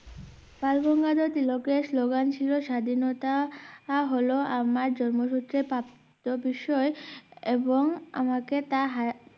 বালগঙ্গাধর তিলক এর slogan ছিল স্বাধীনতা হলো আমার জন্ম সুত্রে প্রাপ্ত বিষয় এবং আমাকে তা হারা